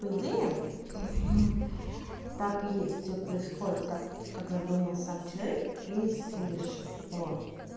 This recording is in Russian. по идее так и есть всё происходит так как задумал сам человек и свыше вот